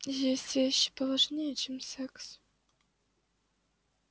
есть вещи поважнее чем секс